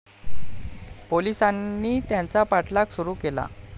पोलीसांनी त्याचा पाठलाग सुरु केला.